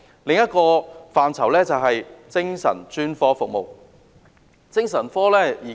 另一個範疇就是，精神專科服務。